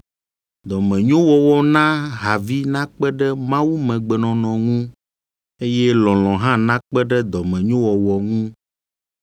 dɔmenyowɔwɔ na havi nakpe ɖe mawumegbenɔnɔ ŋu, eye lɔlɔ̃ hã nakpe ɖe dɔmenyowɔwɔ ŋu.